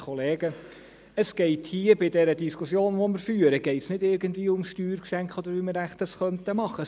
Es geht bei der Diskussion, die wir führen, nicht irgendwie um Steuergeschenke oder darum, wie wir das wohl machen könnten.